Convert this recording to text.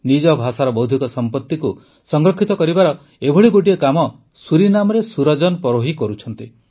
ନିଜ ଭାଷାର ବୌଦ୍ଧିକ ସମ୍ପତିକୁ ସଂରକ୍ଷିତ କରିବାର ଏଭଳି ଗୋଟିଏ କାମ ସୁରିନାମରେ ସୁରଜନ ପରୋହି କରୁଛନ୍ତି